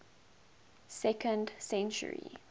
second century